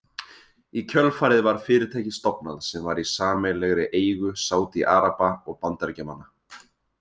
Í kjölfarið var fyrirtæki stofnað sem var í sameiginlegri eigu Sádi-Araba og Bandaríkjamanna.